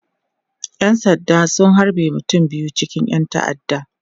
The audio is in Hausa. ƴan sanda sun halbe mutum biyu cikin ƴan ta'adda